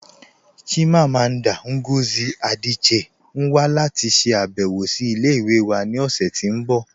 Chimamanda Ngozi Adichie n wà láti ṣàbẹ̀wọ̀ sí ilẹ̀-ìwẹ̀ wà ni ọṣẹ̀ tí n bọ